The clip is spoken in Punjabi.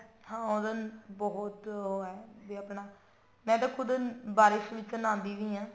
ਹਾਂ ਉਹਦਾ ਬਹੁਤ ਉਹ ਹੈ ਵੀ ਆਪਣਾ ਮੈਂ ਤਾਂ ਖੁਦ ਬਾਰਿਸ਼ ਵਿੱਚ ਨਹਾਉਂਦੀ ਵੀ ਹਾਂ